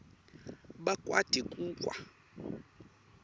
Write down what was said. bakwati ku kwa